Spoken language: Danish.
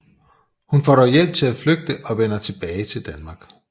Hun får dog hjælp til at flygte og vender tilbage til Danmark